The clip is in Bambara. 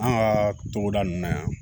An ka togoda nunnu na yan